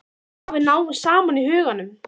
Að við náum saman í huganum.